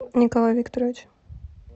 николай викторович